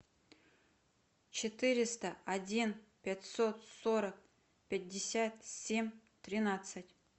четыреста один пятьсот сорок пятьдесят семь тринадцать